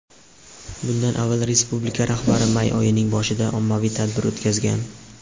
Bundan avval respublika rahbari may oyining boshida ommaviy tadbir o‘tkazgan.